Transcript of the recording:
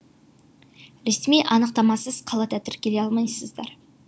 ресми анықтамасыз қалада тіркеле алмайсыздар